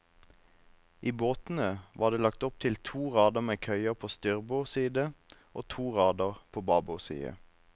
I båtene var det lagt opp til to rader med køyer på styrbord side og to rader på babord side.